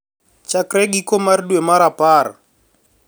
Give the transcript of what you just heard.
Chakre giko mar dwe mar apar